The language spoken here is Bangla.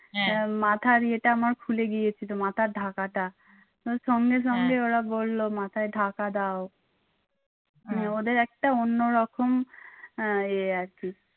মাথার ইয়েটা আমার খুলে গিয়েছিল মাথার ঢাকাটা সঙ্গে সঙ্গে ওরা বললো মাথায় ঢাকা দাও ওদের একটা অন্যরকম আহ ইয়ে আরকি।